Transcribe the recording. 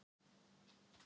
Trúarlega skýringin